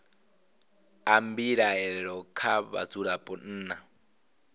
a mbilaelo kha vhadzulapo nna